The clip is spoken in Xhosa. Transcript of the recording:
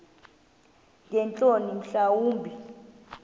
ngeentloni mhla wumbi